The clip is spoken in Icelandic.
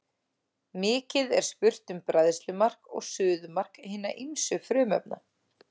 Mikið er spurt um bræðslumark og suðumark hinna ýmsu frumefna.